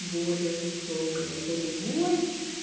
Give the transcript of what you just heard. более высокая это любовь